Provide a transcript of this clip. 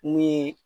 Ni